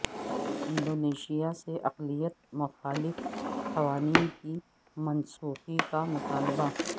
Indonesia سے اقلیت مخالف قوانین کی منسوخی کا مطالبہ